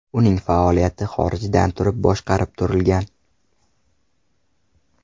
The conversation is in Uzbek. Uning faoliyati xorijdan turib boshqarib turilgan.